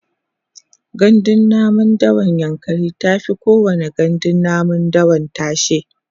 gandun namun dawan yankari tafi kowani gandun namun dawa tashe